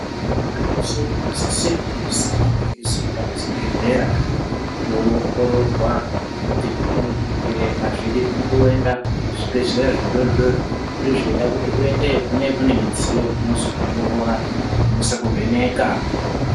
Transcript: Muntu weshe unosisirwa kuzi ange eizoenda kuzvibhedhlera koongororwa kuti zvimweni zvirwere azvidi kungoenda kuzvibhedhleya zvidori dori zvine zveida kuti uendeyo kune kune midziyo inozoongorora inose kuvheneka.